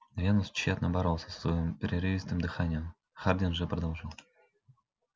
венус тщетно боролся со своим прерывистым дыханием хардин же продолжал